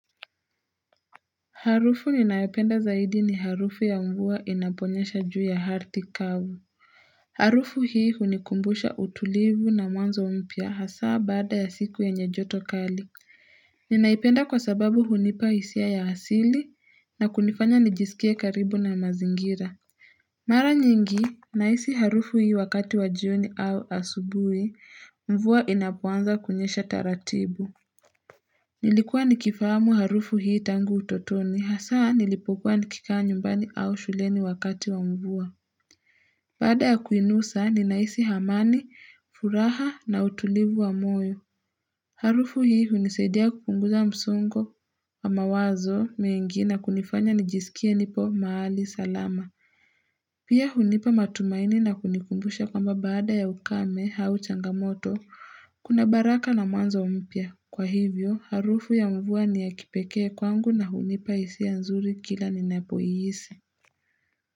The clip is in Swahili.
Harufu ninayopenda zaidi ni harufu ya mvua inaponyesha juu ya ardhi kavu. Harufu hii hunikumbusha utulivu na mwanzo mpya hasa baada ya siku yenye joto kali. Ninaipenda kwa sababu hunipa hisia ya asili na kunifanya nijisikie karibu na mazingira. Mara nyingi, nahisi harufu hii wakati wa jioni au asubuhi, mvua inapoanza kunyesha taratibu. Nilikuwa nikifahamu harufu hii tangu utotoni, hasa nilipokuwa nikikaa nyumbani au shuleni wakati wa mvua. Baada ya kuinusa, ninahisi amani, furaha na utulivu wa moyo. Harufu hii hunisaidia kupunguza msongo wa mawazo, mengi na kunifanya nijisikie nipo mahali, salama. Pia hunipa matumaini na kunikumbusha kwamba baada ya ukame au changamoto, kuna baraka na mwanzo mpya. Kwa hivyo, harufu ya mvua ni ya kipekee kwangu na hunipa hisia nzuri kila ninapoihisi.